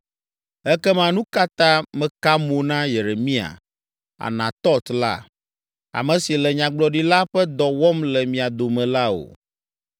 Ekema nu ka ta mèka mo na Yeremia, Anatɔt la, ame si le nyagblɔɖila ƒe dɔ wɔm le mia dome la o?